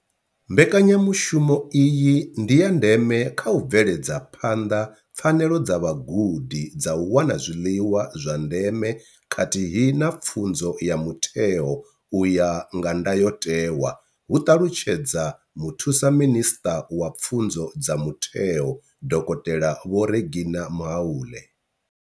Mbekanya mushumo iyi ndi ya ndeme kha u bveledza phanḓa pfanelo dza vhagudi dza u wana zwiḽiwa zwa ndeme khathihi na pfunzo ya mutheo u ya nga ndayotewa, hu ṱalutshedza Muthusa minisṱa wa Pfunzo dza Mutheo, Dokotela Vho Reginah Mhaule.